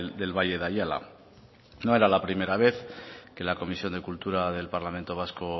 del valle de ayala no era la primera vez que la comisión de cultura del parlamento vasco